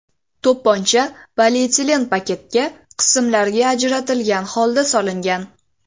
To‘pponcha polietilen paketga qismlarga ajratilgan holda solingan.